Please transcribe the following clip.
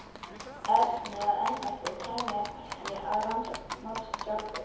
Erni að embætti og kæmi ekki að rannsókn málsins sjálfur.